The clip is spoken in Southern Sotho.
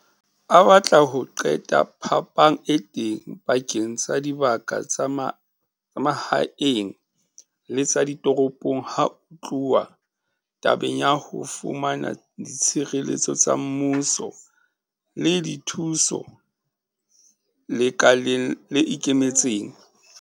A batla ho qeta phapang e teng pakeng tsa dibaka tsa mahaeng le tsa ditoropong ha ho tluwa tabeng ya ho fumana ditshebeletso tsa mmuso le dithuso lekaleng le ikemetseng.